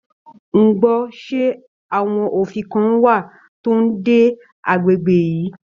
Ngbọ ṣe àwọn òfin kàn wá tó n dé agbègbè yìí?